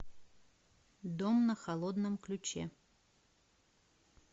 дом на холодном ключе